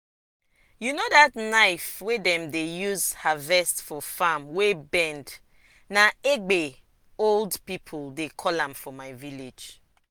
you know that knife wey dem dey use harvest for farm wey bend na "egbe" old people dey call am for my village.